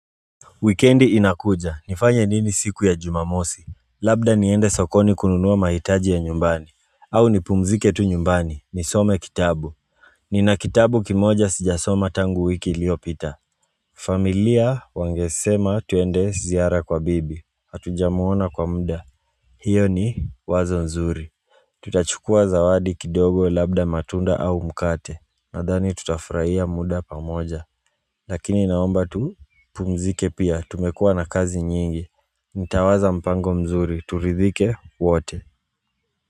Wikendi inakuja, nifanye nini siku ya jumamosi? Labda niende sokoni kununua mahitaji ya nyumbani, au nipumzike tu nyumbani nisome kitabu Nina kitabu kimoja sijasoma tangu wiki iliopita familia wangesema twende ziara kwa bibi. Hatujamwona kwa muda. Hiyo ni wazo nzuri Tutachukua zawadi kidogo labda matunda au mkate. Nadhani tutafurahia muda pamoja Lakini naomba tupumzike pia, tumekua na kazi nyingi Nitawaza mpango mzuri, turidhike wote.